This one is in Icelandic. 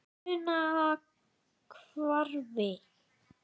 Funahvarfi